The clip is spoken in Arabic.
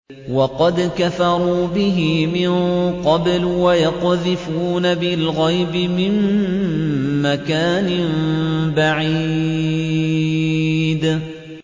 وَقَدْ كَفَرُوا بِهِ مِن قَبْلُ ۖ وَيَقْذِفُونَ بِالْغَيْبِ مِن مَّكَانٍ بَعِيدٍ